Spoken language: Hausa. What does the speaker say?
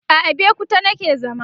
a Abeokuta nake zama